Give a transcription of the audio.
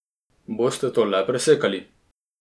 Boste to le presekali?